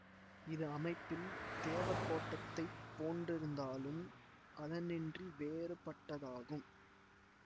இது அமைப்பில் தேவகோட்டத்தைப் போன்றிருந்தாலும் அதனின்றி வேறுபட்டதாகும்